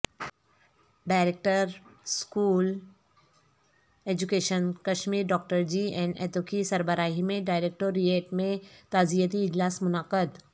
director school education Kashmir doctor G N ایتوکی سربراہی میں ڈائریکٹوریٹ میں تعزیتی اجلاس منعقد